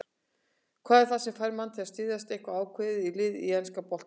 Hvað er það sem fær mann til að styðja eitthvað ákveðið lið í enska boltanum?